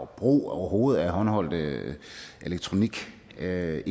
brug af håndholdte elektronikenheder